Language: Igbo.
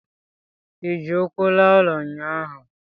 ị ji ụkwụ laa ụlọ ụnyahụ?